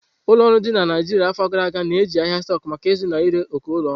Ụlọ ọrụ dị na Naijiria n'afọ gara aga na-eji ahịa stóku maka izụta na ire ókè ulo oru.